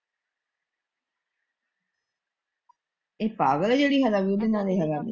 ਇਹ ਪਾਗਲ ਏ ਜਿਹੜੀ ਹਲੇ ਵੀ ਉਹਦੇ ਨਾਲ਼ ਰਹਿੰਦੀ।